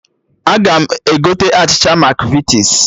Aga m egote achịcha Makvitis